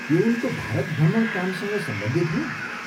के उनको भारत भ्रमण कामसँग सम्बन्धित हो?